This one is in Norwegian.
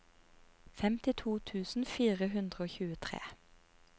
femtito tusen fire hundre og tjuetre